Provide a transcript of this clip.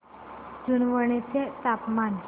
जुनवणे चे तापमान